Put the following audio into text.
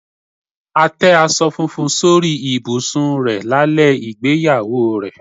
A tẹ́ aṣọ funfun sórí ibùsùn rẹ̀ lálẹ́ ìgbéyàwó ẹ̀.